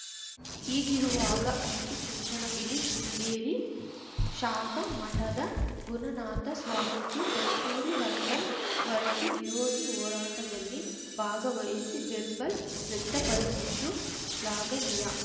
ಹೀಗಿರುವಾಗ ಅಂಚಿಚುಂಚನಗಿರಿ ಶೃಂಗೇರಿ ಶಾಖಾ ಮಠದ ಗುಣನಾಥ ಸ್ವಾಮೀಜಿ ಕಸ್ತೂರಿ ರಂಗನ್‌ ವರದಿ ವಿರೋಧಿ ಹೋರಾಟದಲ್ಲಿ ಭಾಗವಹಿಸಿ ಬೆಂಬಲ್ ವ್ಯಕ್ತಪಡಿಸಿದ್ದು ಶ್ಲಾಘನೀಯ